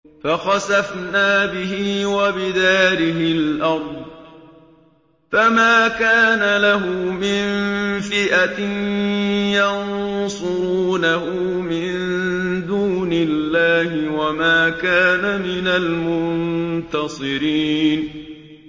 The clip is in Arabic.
فَخَسَفْنَا بِهِ وَبِدَارِهِ الْأَرْضَ فَمَا كَانَ لَهُ مِن فِئَةٍ يَنصُرُونَهُ مِن دُونِ اللَّهِ وَمَا كَانَ مِنَ الْمُنتَصِرِينَ